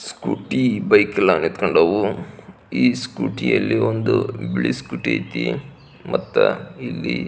scooty bike ಎಲ್ಲ ನಿಂಥಂಕೊಂಡವು ಈ ಸ್ಕೂಟಿಯಲ್ಲಿ ಒಂದು ಬಿಳಿ ಸ್ಕೂಟಿ ಅಯ್ತಿ ಮತ್ತೆ ಇಲಿ--